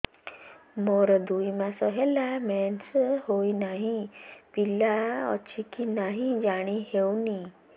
ମୋର ଦୁଇ ମାସ ହେଲା ମେନ୍ସେସ ହୋଇ ନାହିଁ ପିଲା ଅଛି କି ନାହିଁ ଜାଣି ହେଉନି